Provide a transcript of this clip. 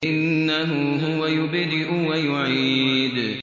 إِنَّهُ هُوَ يُبْدِئُ وَيُعِيدُ